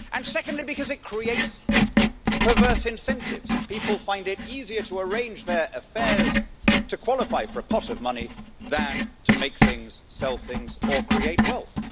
Secondly, because it creates perverse incentives people find it easier to arrange their affairs to qualify for a pot of money, than to make things, sell things or create wealth.